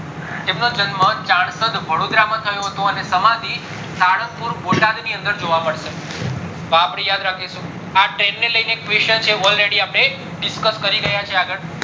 એમનો જન્મ વડોદરા માં થયો હતો અને સમાંથી સારંગપુર બોટાદ ની અંદર જોવા મળશે તો અપડે યાદ રાખીશું આ train ને લઈને question છે એ already discuss કરી ગયા છીએ આગળ